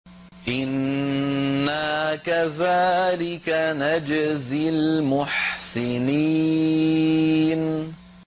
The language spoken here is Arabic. إِنَّا كَذَٰلِكَ نَجْزِي الْمُحْسِنِينَ